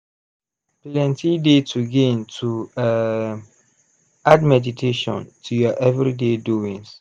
plenty dey to gain to um add meditation to ur everyday doings.